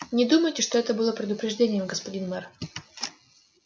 не думайте что это было предупреждением господин мэр